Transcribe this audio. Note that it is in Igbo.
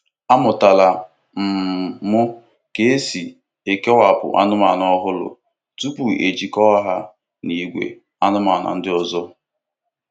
Amụtara um m ka esi kewapụ anụmanụ ọhụrụ tupu ejikọta ha na ìgwè anụmanụ ndị ọzọ.